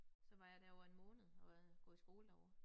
Så var jeg derovre en måned og hvad gået i skole derovre